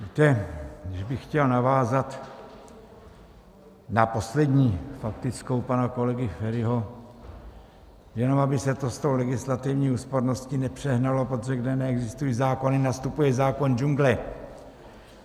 Víte, když bych chtěl navázat na poslední faktickou pana kolegy Feriho: jenom aby se to s tou legislativní úsporností nepřehnalo, protože kde neexistují zákony, nastupuje zákon džungle.